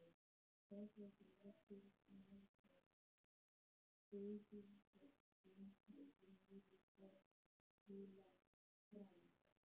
Hraðbrautin liggur meðfram bugðóttum hæðum niður í Borg Heilags Frans.